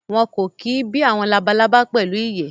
Wọn kò kí bí àwọn labalábá pẹ̀lú ìyẹ́